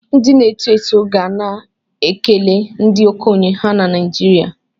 Ndị na-eto eto ga na-ekele ndị okenye ha na Naijiriya